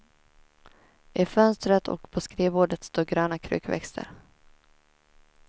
I fönstret och på skrivbordet står gröna krukväxter.